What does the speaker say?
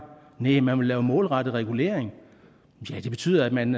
næh man vil lave målrettet regulering ja det betyder at man